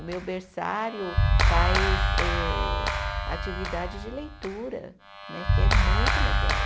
O meu berçário faz eh atividade de leitura, né que é muito legal.